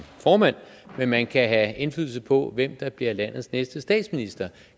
formand men man kan have indflydelse på hvem der bliver landets næste statsminister